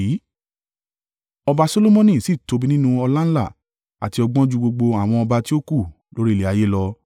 Ọba Solomoni sì tóbi nínú ọláńlá àti ọgbọ́n ju gbogbo àwọn ọba tí ó kù lórí ilẹ̀ ayé lọ.